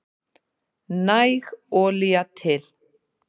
Næg olía til